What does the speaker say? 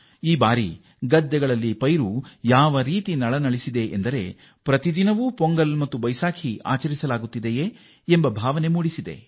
ಈ ಬಾರಿ ನಮ್ಮ ರೈತರ ಜಮೀನಿನಲ್ಲಿ ಬೆಳೆ ಹೇಗೆ ನಳನಳಿಸುತ್ತಿದೆ ಎಂದರೆ ಪ್ರತಿ ದಿನವೂ ಪೊಂಗಲ್ ಮತ್ತು ಬೈಸಾಕಿಯ ಆಚರಣೆಯಾಗಿದೆ